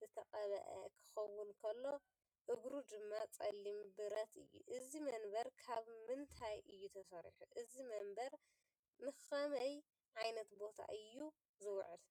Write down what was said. ዝተቐብአ ክኸውን ከሎ፡እግሩ ድማ ጸሊም ብረት እዩ። እዚ መንበር ካብ ምንታይ እዩ ተሰሪሑ? እዚ መንበር ንኸመይ ዓይነት ቦታ እዩ ዝውዕል?